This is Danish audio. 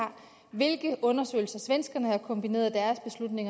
hvilke undersøgelser svenskerne har kombineret